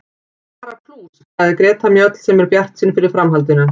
Bara plús, sagði Greta Mjöll sem er bjartsýn fyrir framhaldinu.